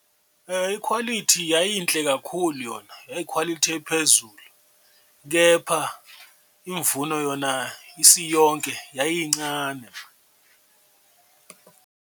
Ikhwalithi yayinhle kakhulu yona yayikhwalithi ephezulu, kepha imvuno yona isiyonke yayincane.